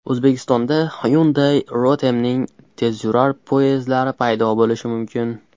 O‘zbekistonda Hyundai Rotem’ning tezyurar poyezdlari paydo bo‘lishi mumkin.